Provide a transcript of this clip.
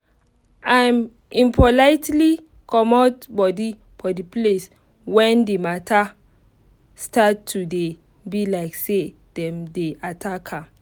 im politely comot body for the place when the mata start to dey be like say dem dey attack am